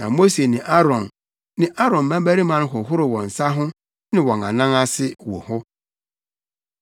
na Mose ne Aaron ne Aaron mmabarima hohoroo wɔn nsa ho ne wɔn anan ase wɔ hɔ.